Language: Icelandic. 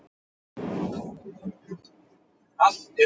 Óskaplegur flýtir er þetta á manninum.